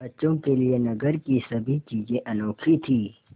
बच्चों के लिए नगर की सभी चीज़ें अनोखी थीं